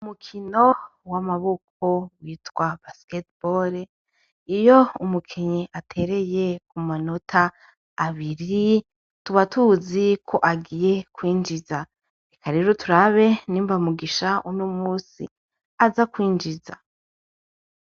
Umukino w'amaboko witwa basketball, iyo umukinyi atereye kumanota abiri tuba tuzi ko agiye kwinjiza, reka rero turabe nimba Mugisha unomunsi aza kwinjiza.